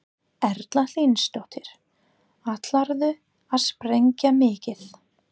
Erla Hlynsdóttir: Ætlarðu að sprengja mikið?